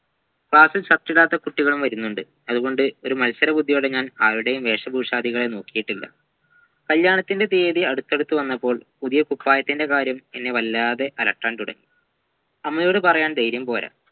class ൽ shirt ഇടാത്ത കുട്ടികളും വരുന്നുണ്ട് അത്കൊണ്ട് ഒരു മത്സരബുദ്ധിപോലെ ഞാൻ അവിടെയും വെശപുഷാതികളെ നോക്കീട്ടില്ല കല്യാണത്തിൻ്റെ തിയതി അടുത്തടുത്ത് വന്നപ്പോൾ പുതിയ കുപ്പായത്തിൻ്റെ കാര്യം എന്നെ വല്ലാതെ അലട്ടാൻ തുടങ്ങി അമ്മയോട് പറയാൻ ധൈര്യംപോരാ